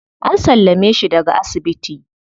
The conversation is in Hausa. An sallame shi daga asibiti.